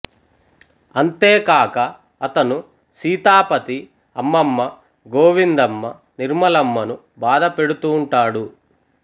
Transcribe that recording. అంతేకాక అతను సీతాపతి అమ్మమ్మ గోవిందమ్మ నిర్మలమ్మ ను బాధపెడుతూంటాడు